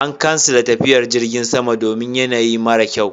An kansile tafiyar Jirgin sama domin yanayi mara kyau.